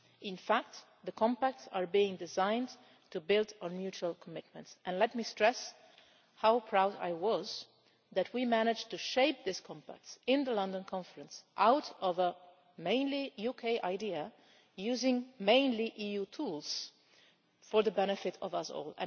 In fact the compacts are being designed to build on mutual commitments, and let me stress how proud I was that we managed to shape these compacts in the London Conference out of a mainly UK idea, using mainly EU tools for the benefit of us all.